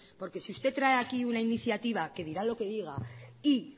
porque si usted trae aquí una iniciativa que dirá lo que diga y